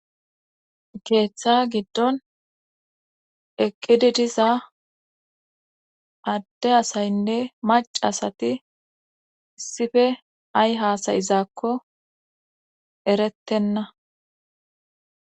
keeththa giddon eqqidi diza adde asaynne mac asati issife ay haasayizaakko erettenna